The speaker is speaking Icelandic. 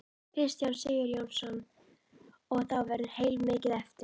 Kristján Sigurjónsson: Og þá verður heilmikið eftir?